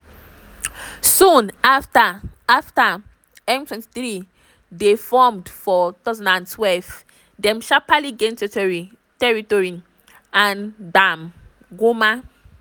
soon afta afta m23 dey formed for 2012 dem sharparly gain territory and gbab goma.